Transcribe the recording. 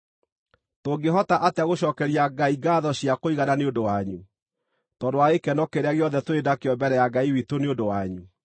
Tũngĩhota atĩa gũcookeria Ngai ngaatho cia kũigana nĩ ũndũ wanyu, tondũ wa gĩkeno kĩrĩa gĩothe tũrĩ nakĩo mbere ya Ngai witũ nĩ ũndũ wanyu?